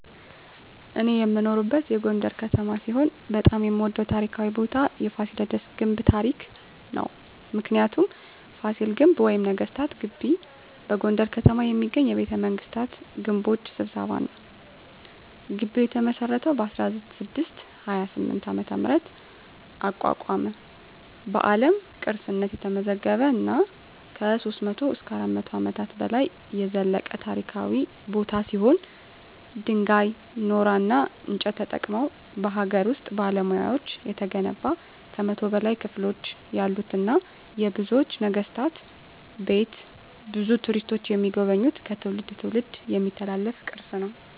እኔ የምኖርበት ጎንደር ከተማ ሲሆን በጣም የምወደው ታሪካዊ ቦታ የፋሲለደስ ግንብ ታሪክ ነው። ምክንያቱ : ፋሲል ግንብ ወይም ነገስታት ግቢ በጎንደር ከተማ የሚገኝ የቤተመንግስታት ግንቦች ስብስብ ነው። ግቢው የተመሰረተው በ1628 ዓ.ም አቋቋመ በአለም ቅርስነት የተመዘገበ እና ከ300-400 አመታት በላይ የዘለቀ ታሪካዊ ቦታ ሲሆን ድንጋይ ,ኖራና እንጨት ተጠቅመው በሀገር ውስጥ ባለሙያዎች የተገነባ ከ100 በላይ ክፍሎች ያሉትና የብዙ ነገስታት ቤት ብዙ ቱሪስቶች የሚጎበኙት ከትውልድ ትውልድ የሚተላለፍ ቅርስ ነው።